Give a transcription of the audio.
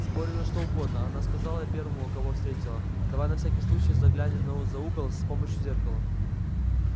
спорим на что угодно она сказала первому кого встретила давай на всякий случай заглянем на за угол с помощью зеркала